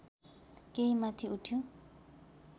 केही माथि उठ्यो